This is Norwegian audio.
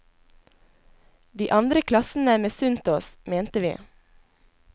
De andre klassene misunte oss, mente vi.